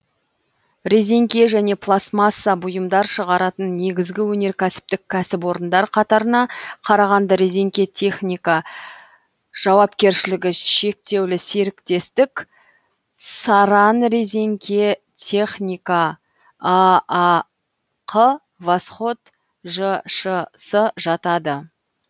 резеңке және пластмасса бұйымдар шығаратын негізгі өнеркәсіптік кәсіпорындар қатарына қарағанды резеңке техника жауапкершілігі шектеулі серіктестік саранрезеңкетехника аақ восход жшс жатады